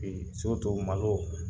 Ee malo